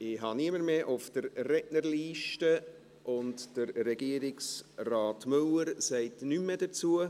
Ich habe niemanden mehr auf der Rednerliste, und Regierungsrat Müller sagt auch nichts mehr dazu.